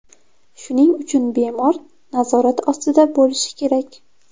Shuning uchun bemor nazorat ostida bo‘lishi kerak.